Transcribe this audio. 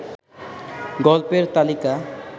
গল্পের তালিকা